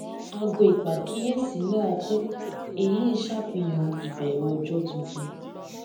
aago ìpàkíyèsí náa kú èyí n ṣàfihàn ìbẹrẹ ọjọ tuntun